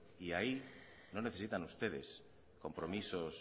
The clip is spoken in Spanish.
y ahí no necesitan ustedes compromisos